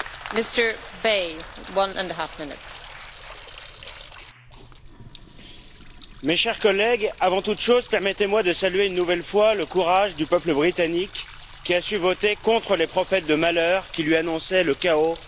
Madame la Présidente, mes chers collègues, avant toute chose, permettez moi de saluer une nouvelle fois le courage du peuple britannique, qui a su voter contre les prophètes de malheur qui lui annonçaient le chaos en cas de Brexit.